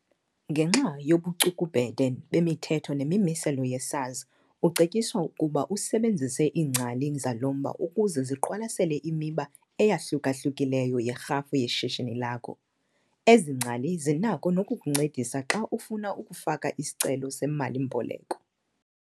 Ngenxa yobucukubhede bemithetho nemimiselo ye-SARS ucetyiswa ukuba usebenzise iingcali zalo mba ukuze ziqwalasele imiba eyahluka-hlukileyo yerhafu yeshishini lakho. Ezi ngcali zinako nokukuncedisa xa ufuna ukufaka isicelo semali-mboleko.